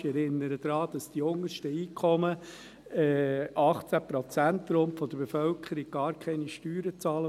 Ich erinnere daran, dass die untersten Einkommen, rund 18 Prozent der Bevölkerung, gar keine Steuern bezahlen.